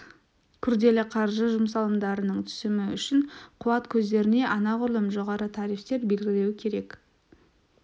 күрделі қаржы жұмсалымдарының түсімі үшін қуат көздеріне анағұрлым жоғары тарифтер белгілеу керек